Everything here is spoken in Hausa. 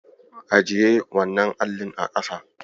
Ajiye wannan allin a ƙasa.